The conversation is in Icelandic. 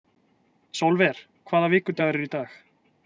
Sólver, hvaða vikudagur er í dag?